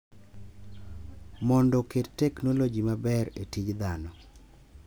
Mondo oket teknoloji maber e tij dhano.